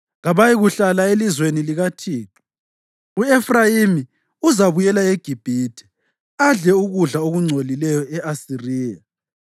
Kabayikuhlala elizweni likaThixo; u-Efrayimi uzabuyela eGibhithe adle ukudla okungcolileyo e-Asiriya.